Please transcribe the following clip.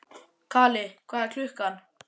Kali, hvað er klukkan?